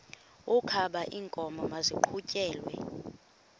wokaba iinkomo maziqhutyelwe